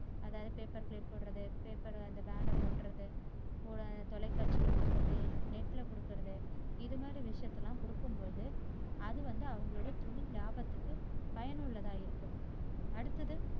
அதாவது paper plate போடுறது, paper and banner ஓட்டுறது, தொலைகாட்சில கொடுக்கிறது, net ல கொடுக்கிறது இது மாதிரி விஷயத்தையெல்லாம் கொடுக்கும் போது அது வந்து அவங்க தொழில் லாபத்திரிக்கு பயனுள்ளதா இருக்கு. அடுத்தது